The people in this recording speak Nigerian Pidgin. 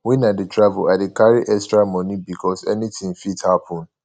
wen i dey travel i dey carry extra moni because anytin fit happen